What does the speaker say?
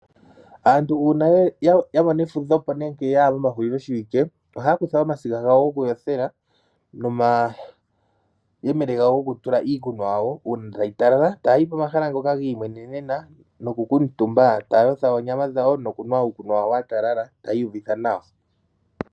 Aantu uuna yamona efudhepo nenge mehuliloshiwike ohayakutha omasiga gawo gokuyothela nomayele gokutula iikunwa yawo uuna tayi talala, eta yayi pomahala ngoka giimwenenena no kunkutumba etaya yotha oonyamwa dhawo nokunwa uukunwa wawo watalala taa iyuvitha nawa.